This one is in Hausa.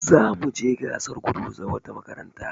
Za mu je gasar gudu da wata makaranta.